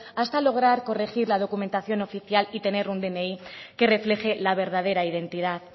hasta lograr corregir la documentación oficial y tener un dni que refleje la verdadera identidad